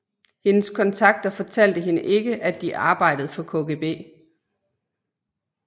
Hendes kontakter fortalte hende ikke at de arbejdede for KGB